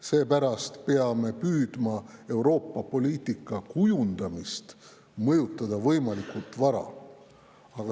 Seepärast peame püüdma Euroopa poliitika kujundamist mõjutada võimalikult vara.